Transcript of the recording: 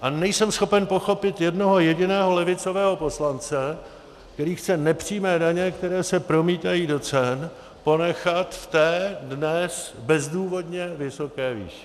A nejsem schopen pochopit jednoho jediného levicového poslance, který chce nepřímé daně, které se promítají do cen, ponechat v té dnes bezdůvodně vysoké výši.